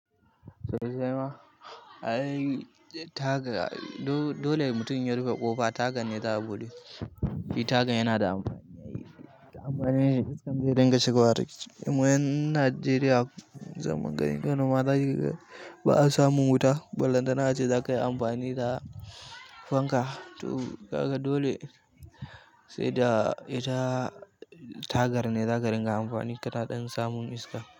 Zai zama. Ai tagar dole mutum yayi rufe ƙofa tagar ne za a buɗe. Shi tagar yana da amfani. Ka ga iska zai dinga shigowa ciki, ka ga mu ƴan Nigeria zaman gari gano mata shi ba'a samu wuta, bullatana ace za kai amfani da fanka. To ka ga dole sai da ita tagar ne za ka ringa amfani ka na ɗan samun iska.